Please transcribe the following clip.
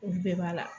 Olu bɛɛ b'a la